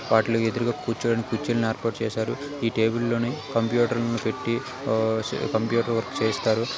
వాటిలో ఎదురుగా కూర్చోడానికి కుర్చీలను ఏర్పాటు చేశారు. ఇ టేబుల్ లోని కంప్యూటర్ ముందు పెట్టి ఆ కంప్యూటర్ వర్క్ చేయిస్తారు.